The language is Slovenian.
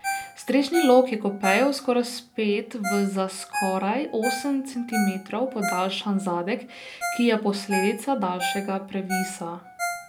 Strešni lok je kupejevsko razpet v za skoraj osem centimetrov podaljšan zadek, ki je posledica daljšega previsa.